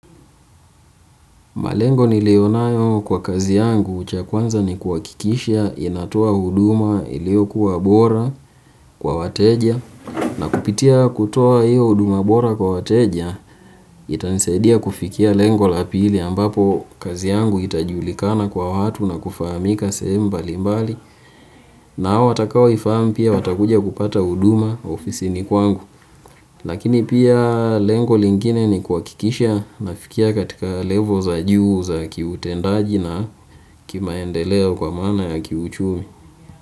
Malengo niliyonayo kwa kazi yangu cha kwanza ni kuhakikisha inatoa huduma iliyokuwa bora kwa wateja na kupitia kutoa hiyo huduma bora kwa wateja itanisaidia kufikia lengo la pili ambapo kazi yangu itajulikana kwa watu na kufahamika sehemu mbali mbali na hao watayoifahamu watakuja kupata huduma ofisini kwangu. Lakini pia lengo lingine ni kuhakikisha nafikia katika level za juu za kiutendaji na kimaendeleo kwa maana ya kiuchumi.